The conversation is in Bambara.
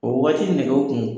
O wagati nɛgɛw kun